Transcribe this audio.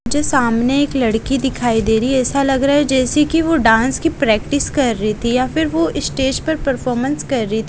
मुझे सामने एक लड़की दिखाई दे रही है। ऐसा लग रहा है जैसे कि वो डांस की प्रैक्टिस कर रही थी या फिर वो स्टेज पर परफॉर्मेंस कर रही थी।